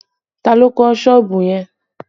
Ta ló kọ́ sọ́ọ̀bù yẹn?